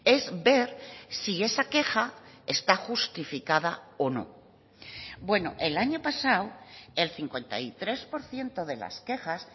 es ver si esa queja está justificada o no bueno el año pasado el cincuenta y tres por ciento de las quejas